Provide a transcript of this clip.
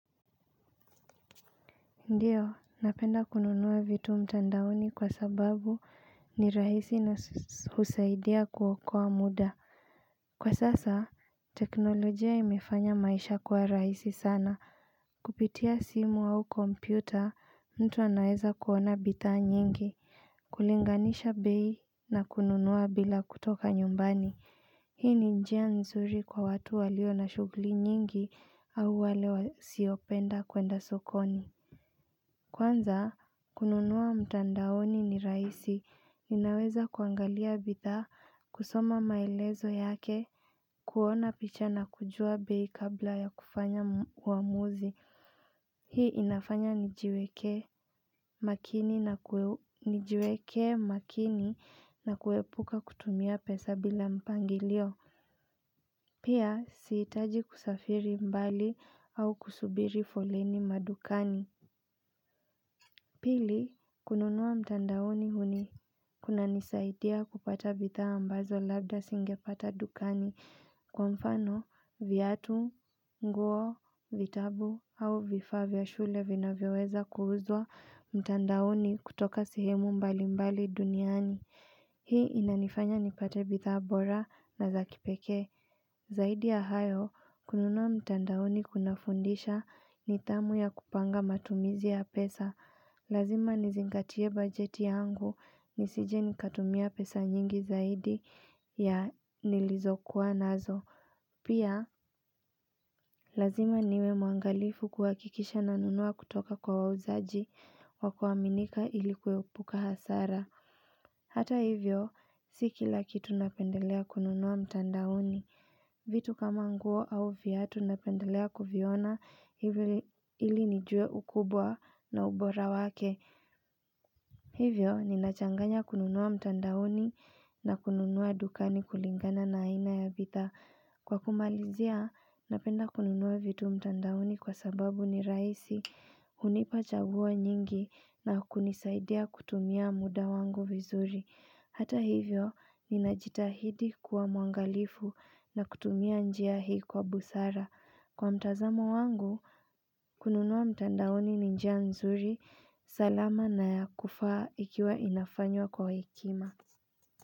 Ndiyo, napenda kununua vitu mtandaoni kwa sababu ni rahisi na husaidia kuokoa muda Kwa sasa, teknolojia imefanya maisha kwa rahisi sana Kupitia simu au kompyuta, mtu anaeza kuona bithaa nyingi kulinganisha bei na kununua bila kutoka nyumbani Hii ni njia nzuri kwa watu walio na shughuli nyingi au wale siopenda kwenda sokoni Kwanza, kununua mtandaoni ni rahisi, ninaweza kuangalia bithaa, kusoma maelezo yake, kuona picha na kujua bei kabla ya kufanya uamuzi. Hii inafanya nijiwekee makini na kuepuka kutumia pesa bila mpangilio, pia siitaji kusafiri mbali au kusubiri foleni madukani. Pili, kununua mtandaoni huni kuna nisaidia kupata bitha ambazo labda singe pata dukani kwa mfano viatu, nguo, vitabu au vifaa vya shule vina vyoweza kuuzwa mtandaoni kutoka sehemu mbali mbali duniani. Hii inanifanya nipate bithaa bora na za kipekee. Zaidi ya hayo, kununua mtandaoni kuna fundisha ni thamu ya kupanga matumizi ya pesa. Lazima nizingatie bajeti yangu ni sije nikatumia pesa nyingi zaidi ya nilizokuwa nazo. Pia, lazima niwe mwangalifu kuhakikisha na nunua kutoka kwa wauzaji wa kuaminika ilikuepuka hasara. Hata hivyo, siki lakitu napendelea kununua mtandaoni. Vitu kama nguo au viatu napendelea kuviona hivyo ili nijue ukubwa na ubora wake. Hivyo, ninachanganya kununua mtandaoni na kununua dukani kulingana na aina ya bithaa. Kwa kumalizia, napenda kununua vitu mtandaoni kwa sababu ni rahisi, unipa chaguo nyingi na kunisaidia kutumia muda wangu vizuri. Hata hivyo, ninajitahidi kuwa mwangalifu na kutumia njia hii kwa busara. Kwa mtazamo wangu, kununua mtandaoni ninjia nzuri, salama na ya kufaa ikiwa inafanywa kwa hekima.